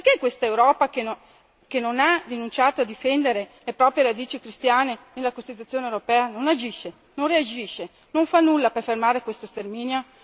Perché questa Europa che non ha rinunciato a difendere le proprie radici cristiane nella Costituzione europea non agisce, non reagisce, non fa nulla per fermare questo sterminio?